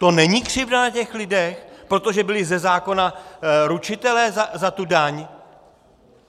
To není křivda na těch lidech, protože byli ze zákona ručitelé za tu daň?